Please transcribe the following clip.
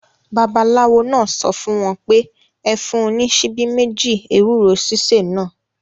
Babaláwo náà sọ fún wọn pé; Ẹ fún un ní ṣíbí méjì ewúro sísè náà.